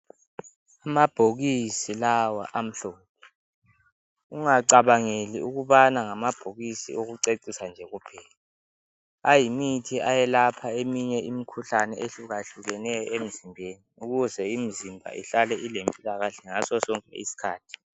Amabhokisi lawa amhlophe ungacabangeli ukubana ngamabhokisi okucecisa nje kuphela. Ayimithi eyelapha eminye imikhuhlane ehlukahlukeneyo emzimbeni. Ukuze omzimba ihlale ilempilakahle ngaso sonke isikhathi.